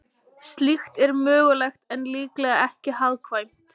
Slíkt er mögulegt en líklega ekki hagkvæmt.